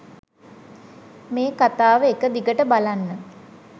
මේ කතාව එකදිගට බලන්න.